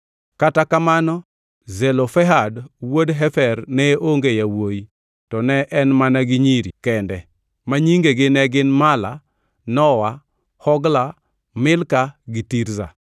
(Kata kamano Zelofehad wuod Hefer ne onge yawuowi; to ne en mana gi nyiri kende, ma nyingegi ne gin Mala, Nowa, Hogla, Milka gi Tirza.)